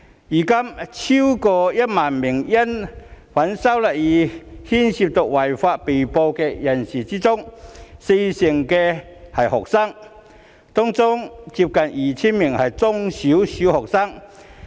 現時超過1萬名因反修例風波而涉及違法行為的被捕人士中，有四成是學生，當中接近 2,000 名是中小學生。